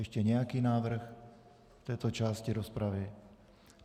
Ještě nějaký návrh v této části rozpravy?